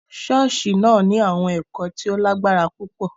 Ṣọọṣi náà ni awọn ẹkọ ti o lagbara pupọ.